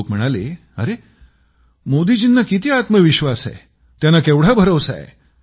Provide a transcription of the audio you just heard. लोक म्हणाले अरे मोदीजींना किती आत्मविश्वास आहे त्यांना केवढा भरवसा आहे